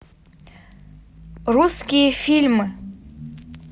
русские фильмы